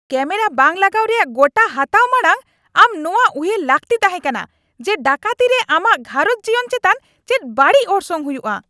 Camera ᱵᱟᱝ ᱞᱟᱜᱟᱣ ᱨᱮᱭᱟᱜ ᱜᱚᱴᱟ ᱦᱟᱛᱟᱣ ᱢᱟᱲᱟᱝ ᱟᱢ ᱱᱚᱣᱟ ᱩᱭᱦᱟᱹᱨ ᱞᱟᱹᱠᱛᱤ ᱛᱟᱦᱮᱸᱠᱟᱱᱟ ᱡᱮ, ᱰᱟᱹᱠᱟᱹᱛᱤ ᱨᱮ ᱟᱢᱟᱜ ᱜᱷᱟᱨᱚᱸᱡᱽ ᱡᱤᱭᱚᱱ ᱪᱮᱛᱟᱱ ᱪᱮᱫ ᱵᱟᱹᱲᱤᱡ ᱚᱨᱥᱚᱝ ᱦᱩᱭᱩᱜᱼᱟ ᱾ (ᱯᱩᱞᱤᱥ)